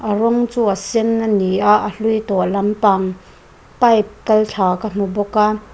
a rawng chu a sen a ni a a hlui tawh lampang pipe kal thla ka hmu bawk a.